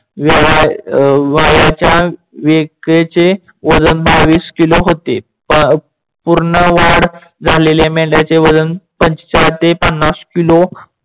वयाच्या वजन बावीस किलो होते. पूर्ण वाढ झालेल्या मेंढयाचे वजन पंचेच्याद ते पन्नास किलो